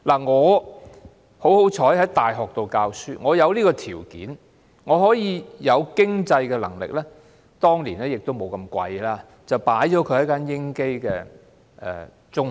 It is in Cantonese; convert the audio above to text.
我有幸在大學教書，因而有條件和經濟能力——當年學費也沒有這麼貴——為他報讀英基中學。